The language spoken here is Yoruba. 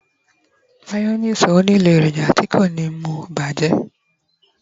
mayonnaise o nilo eroja ti ko ni mu bajẹ